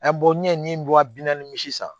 n ye n bɔra bi naani misi san